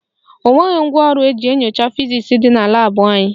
O nweghị ngwaọrụ eji eme nyocha fizisi dị na laabụ anyị